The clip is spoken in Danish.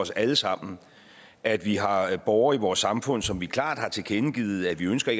os alle sammen at vi har borgere i vores samfund som vi klart har tilkendegivet ikke ønsker